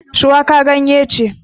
Shuwaka ganye ce